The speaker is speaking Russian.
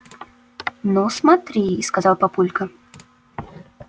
ну смотри сказал папулька